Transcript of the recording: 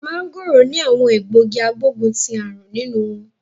Mangoro ni awon egbogi agboguntiarun ninu won